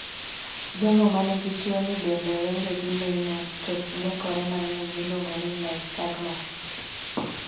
Jogo manigi tuo ni bende wenge gi neno to ngekore mang'eny miluongo ni nystagmus